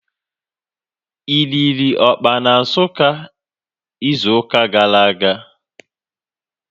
Ị riri ọkpa na Nsukka izu ụka gara aga?